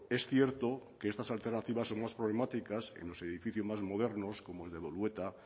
es cierto que estas alternativas son más problemáticas en los edificios más modernos como el de bolueta